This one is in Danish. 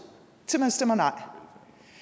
til at man stemmer nej